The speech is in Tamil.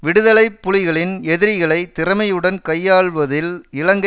விடுதலை புலிகளின் எதிரிகளை திறமையுடன் கையாள்வதில் இலங்கை